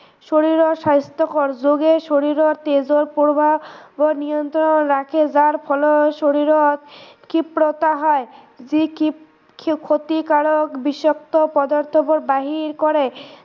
শৰীৰৰ স্বাস্থ্যকৰ যোগে শৰীৰৰ তেজৰ প্ৰবাহ নিয়ন্ত্ৰণ ৰাখে যাৰ ফলত শৰীৰত ক্ষিপ্ৰতা হয় যি ক্ষিপ ক্ষতিকাৰক বিষাক্ত পদাৰ্থবোৰ বাহিৰ কৰে